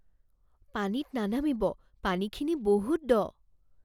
পানীত নানামিব। পানীখিনি বহুত দ!